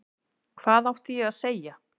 Hvað átti ég að segja?